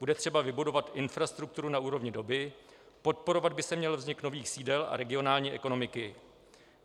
Bude třeba vybudovat infrastrukturu na úrovni doby, podporovat by se měl vznik nových sídel a regionální ekonomiky.